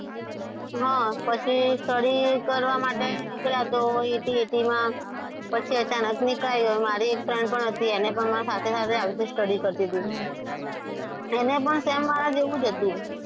હા, પછી study કરવા માટે નીકળ્યા તો એ એકલી હતી પછી અચાનક ની કાઢ્યો મારી એક friend પણ હતી એને પણ મારી સાથે સાથે આવી રીતે study કરતી હતી. તેને પણ same મારા જેવું જ હતું.